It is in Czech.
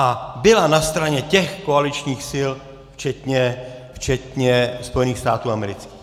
A byla na straně těch koaličních sil včetně Spojených států amerických.